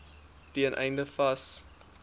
ten einde vas